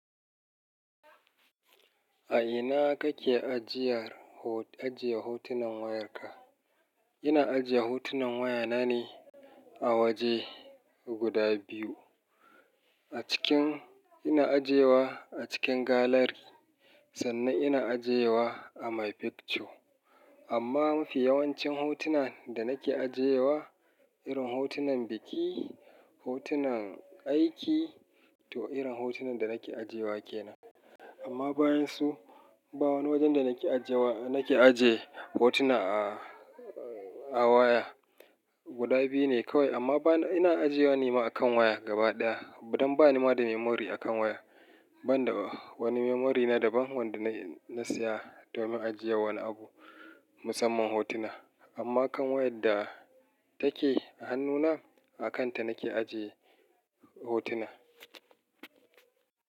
A ina kake ajiye hotunan wayarka? Ina ajiye hotunan wayana ne a waje guda biyu. Ina ajiyewa a cikin gallery sannan ina ajiyewa a my picture. Amma fi yawancin hotunan da nake ajiyewa, irin hotunan biki, hotunan aiki to irin hotunan da nake ajiyewa kenan. Amma bayan su, ba wani wajen da nake ajiye hotuna a waya. Guda biyu ne kawai amma ina ajiyewa ne ma akan waya gaba ɗaya. Dan ba ni ma da memory akan waya. Ban da wani memory na daban wanda na saya domin ajiye wani abu musamman hotuna. Amma kan wayar da take a hannuna, a kanta nake ajiye hotuna.